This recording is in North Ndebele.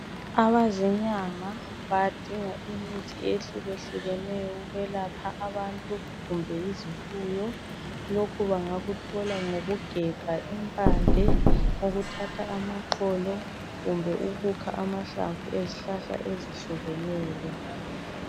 Abazinyanga badinga imithi ehlukehlukeneyo ukwelapha abantu kumbe izifuyo lokhu bangakuthola ngokugebha impande ukuthatha amaxolo kumbe ukukha amahlamvu ezihlahla ezihlukeneyo.